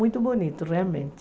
Muito bonito, realmente.